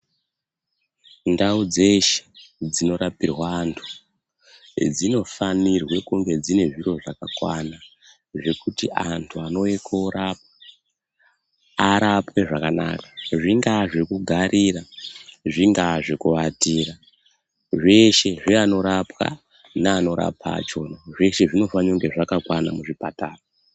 Ndau dzeshe dzinorapirwa antu dzinofanirwe kunge dzine zviro zvakakwana zvekuti antu anouye korapwa, arapwe zvakanaka. Zvingaa zvekugarira, zvingaa zvekuatira, zveshe zvevanorapwa, nevanorapa vachona zveshe zvinofanire kunge zvakakwana muzvipatara.